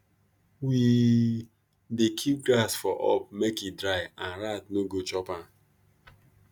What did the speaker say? we dey keep grass for up make e dry and rat no go chop am